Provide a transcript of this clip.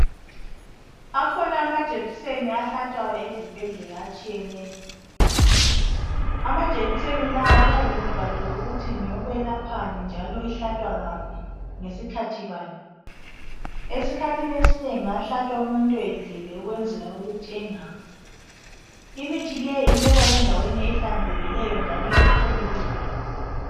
Akhona amajekiseni ahlatshwayo ezibhedlela atshiyeneyo. Amajekiseni lawo kuyabe kubhaliwe ukuthi ngeyekwelaphani njalo uhlatshwa ngaphi ngesikhathi bani. Esikhathini esinengi ahlatshwa umuntu edlile ukwenzela ukuthi engawi. Imithi leyi ibekwa endaweni ehlanzekileyo njalo epholileyo.